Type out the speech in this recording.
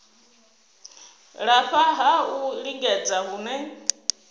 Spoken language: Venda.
lafha ha u lingedza hune